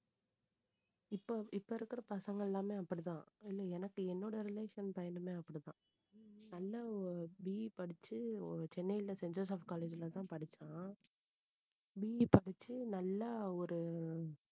இப்போ, இப்போ இருக்கிற பசங்க எல்லாமே அப்படித்தான் இல்லை எனக்கு என்னோட relation பையனுமே அப்படித்தான் நல்ல BE படிச்சு சென்னைல செயின்ட் ஜோசப் college ல தான் படிச்சான் BE படிச்சு நல்லா ஒரு